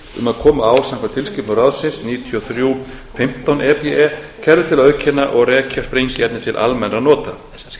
um að koma á samkvæmt tilskipun ráðsins níutíu og þrjú fimmtán e b e kerfi til að auðkenna og rekja sprengiefni til almennra nota